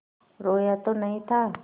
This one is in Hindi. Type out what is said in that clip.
रोया तो नहीं था